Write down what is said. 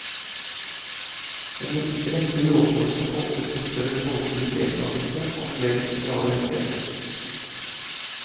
En rekke lovreformer åpnet for større folkelig deltagelse og flere sosiale rettigheter.